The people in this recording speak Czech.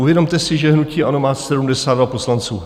Uvědomte si, že hnutí ANO má 72 poslanců.